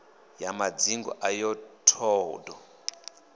ya madzingu ayo t hod